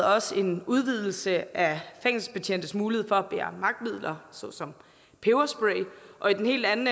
også en udvidelse af fængselsbetjentes mulighed for at bære magtmidler såsom peberspray og i den helt anden